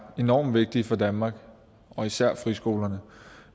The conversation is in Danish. enormt vigtige for danmark især friskolerne